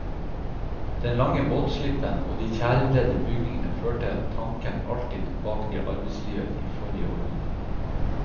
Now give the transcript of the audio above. Den lange båtslippen og de tjærebredde bygningene førte tanken alltid tilbake til arbeidslivet i forrige århundre.